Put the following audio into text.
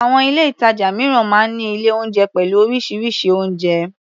Àwọn ilé-ìtàjà mìíràn máa ń ní ilé-oúnjẹ pẹ̀lú oríṣiríṣi oúnjẹ.